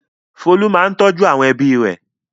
Folú máa ń tọ́jú ẹbí rẹ̀.